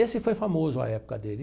Esse foi famoso na época dele.